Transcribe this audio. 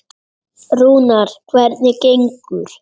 Rúnar, hvernig gengur?